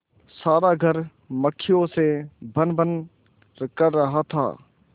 सारा घर मक्खियों से भनभन कर रहा था